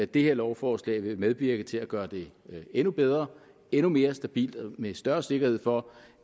det her lovforslag vil medvirke til at gøre det endnu bedre og endnu mere stabilt med større sikkerhed for